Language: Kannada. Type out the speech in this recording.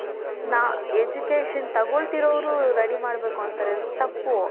education ತಗೊಳ್ತಿರೋರು ready ಮಾಡ್ಬೇಕ್ ಅಂತಾರೆ ತಪ್ಪು .